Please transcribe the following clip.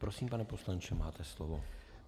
Prosím, pane poslanče, máte slovo.